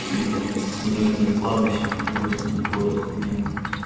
с видом с одной стороны кладбища с другой стороны город ахуенно